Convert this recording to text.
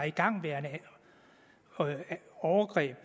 igangværende overgreb